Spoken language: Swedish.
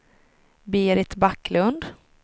Berit Backlund